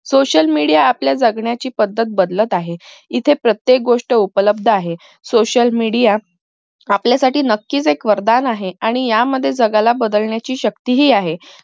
social media आपल्या जगण्याची पद्धत बदलत आहे इथं प्रत्येक गोष्ट उप्लब्द आहे social media आपल्यासाठी नक्कीच एक वरदान आहे आणि यामध्ये जगाला बदलण्याची शक्तीही आहे